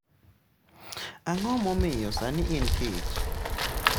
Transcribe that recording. Ang’o momiyo sani en kech?